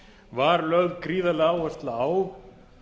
var lögð gríðarleg áhersla á